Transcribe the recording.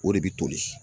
O de bɛ toli